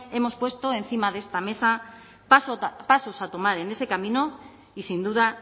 hemos puesto encima de esta mesa pasos a tomar en ese camino y sin duda